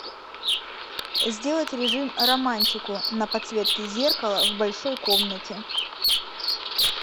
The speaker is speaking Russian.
сделать режим романтику на подсветке зеркала в большой комнате